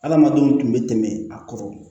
Adamadenw tun bɛ tɛmɛ a kɔrɔ